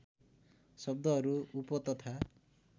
शब्दहरू उप तथा